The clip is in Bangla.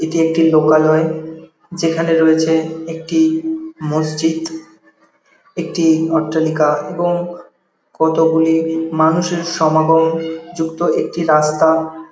এটি একটি লোকালয় যেখানে রয়েছে একটি মসজিদ একটি অট্টালিকা এবং কতগুলি মানুষের সমাগম যুক্ত একটি রাস্তা।